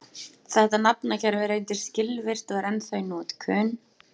þetta nafnakerfi reyndist skilvirkt og er ennþá í notkun